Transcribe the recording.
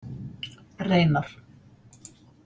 Reynar